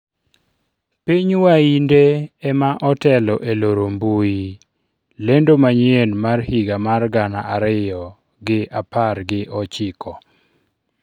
piny wainde ema otelo e loro mbui lendo manyien mar higa mar gana ariyo gi apar gi ochiko